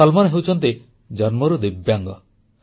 ସଲମାନ ହେଉଛନ୍ତି ଜନ୍ମରୁ ଦିବ୍ୟାଙ୍ଗ